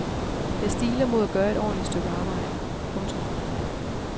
Jeg stiler mod at gøre et ordentligt stykke arbejde. punktum